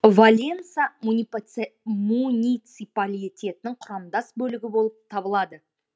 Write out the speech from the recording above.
валенса муниципалитетінің құрамдас бөлігі болып табылады